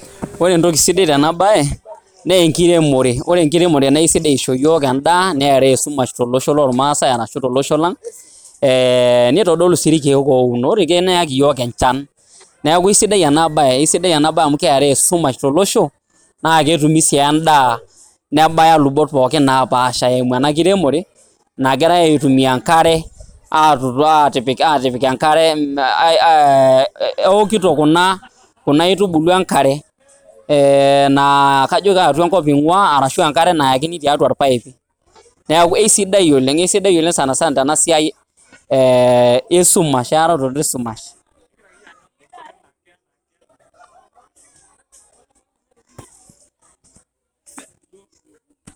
Ore entoki sidai tena bae enkiremore, ore enkiremore naa sidai isho yiok endaa, neraa esumash tolosho lormasai arashu tolosho lang', nitodolu sii irkeek ounot. Ore irkeek neyaki yiok enchan neeku aisidai ena bae. Aisidai enabae amu keraa esumash tolosho, na ketumi si endaa nebaya lubot pookin napaasha eimu ena kiremore, nagirai aitumia enkare atipik enkare, eokito kuna aitubulu enkare. Na kajo kaatua enkop ing'ua, arashu enkare nayakini tiatua orpaip. Neeku aisidai oleng. Aisidai oleng' sanasana tena siai esumash, eararoto esumash.